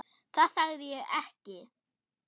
Það sagði ég ekki